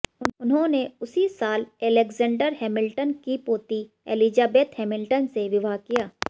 उन्होंने उसी साल अलेक्जेंडर हैमिल्टन की पोती एलिजाबेथ हैमिल्टन से विवाह किया